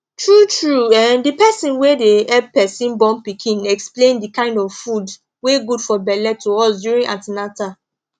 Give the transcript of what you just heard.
tru tru um the person wey dey help person born pikin explain the kind of foods wey good for belle to us during an ten atal